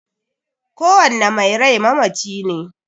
Kowanne mai rai mamaci ne